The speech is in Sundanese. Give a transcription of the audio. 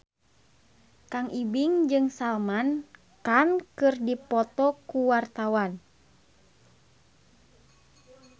Kang Ibing jeung Salman Khan keur dipoto ku wartawan